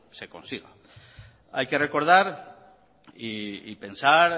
se consiga hay que recordar y pensar